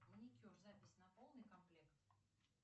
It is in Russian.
маникюр запись на полный комплект